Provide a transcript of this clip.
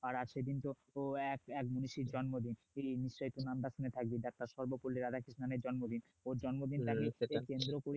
আর সেদিন তো এক মনীষীর জন্মদিন থাকবে সর্ব কূলে রাধাকৃষ্ণের জন্মদিন ওর জন্মদিন